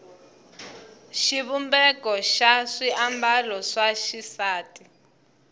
xivumbeko xa swiambalo swa xisati